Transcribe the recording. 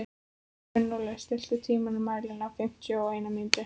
Gunnóli, stilltu tímamælinn á fimmtíu og eina mínútur.